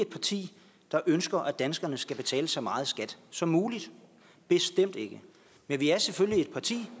parti der ønsker at danskerne skal betale så meget i skat som muligt bestemt ikke men vi er selvfølgelig et parti